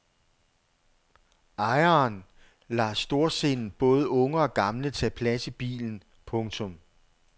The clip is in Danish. Ejeren lader storsindet både unge og gamle tage plads i bilen. punktum